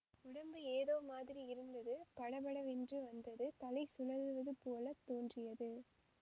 உடம்பு ஏதோ மாதிரி இருந்தது படபடவென்று வந்தது தலை சுழலுவது போல தோன்றியது